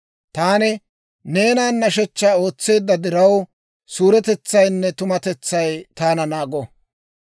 Taani neenan hidootaa ootseedda diraw, suuretetsaynne tumatetsay taana naago.